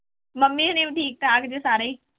Mummy ਹੋਣੀ ਵੀ ਠੀਕ ਠਾਕ ਜੇ ਸਾਰੇ ਹੀ।